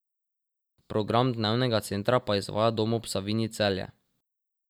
Program dnevnega centra pa izvaja Dom ob Savinji Celje.